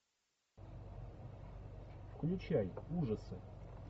включай ужасы